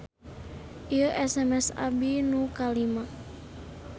Ieu SMS abdi nu kalima